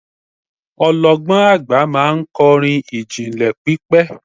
ọlọgbọn agba ma n kọrin ijinlẹ pipẹ